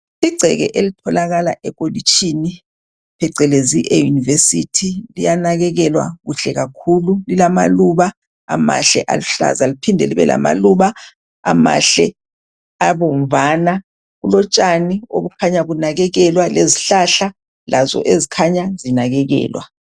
Igceke elitholakala elokitshini phecelezi eyunivesithi. Liyanakekelwa kuhle kakhulu lilamaluba amahle aluhlaza liphinde libe lamaluba amahle abomvana. Kulotshani obukhanya bunakekelwa lezihlahla lazo ezikhanya zinakekelwa.